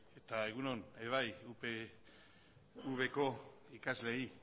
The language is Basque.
eta egun on ere bai upvko ikasleei